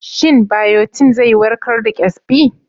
Shin biotin zai warkar da ƙyazbi?